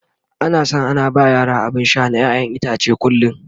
ana San ana ba yara abun Sha na ƴaƴan itace a kullum